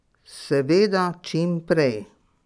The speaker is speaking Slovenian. Seveda čim prej.